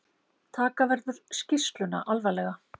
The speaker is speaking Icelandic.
Taka verður skýrsluna alvarlega